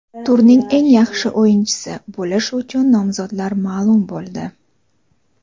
"Turning eng yaxshi o‘yinchisi" bo‘lish uchun nomzodlar ma’lum bo‘ldi.